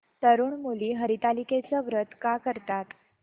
तरुण मुली हरतालिकेचं व्रत का करतात